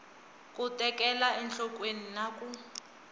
ku tekela enhlokweni na ku